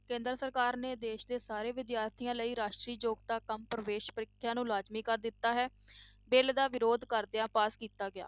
ਕੇਂਦਰ ਸਰਕਾਰ ਨੇ ਦੇਸ ਦੇ ਸਾਰੇ ਵਿਦਿਆਰਥੀਆਂ ਲਈ ਰਾਸ਼ਟਰੀ ਯੋਗਤਾ ਕੰਮ ਪ੍ਰਵੇਸ ਪ੍ਰੀਖਿਆਵਾਂ ਨੂੰ ਲਾਜ਼ਮੀ ਕਰ ਦਿੱਤਾ ਹੈ, ਬਿੱਲ ਦਾ ਵਿਰੋਧ ਕਰਦਿਆਂ ਪਾਸ ਕੀਤਾ ਗਿਆ।